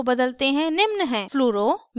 fluoro fluoro f methyl ch3